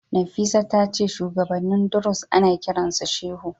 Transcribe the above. Nafisat tace shuwagabannin Druze ana kiransu shehu.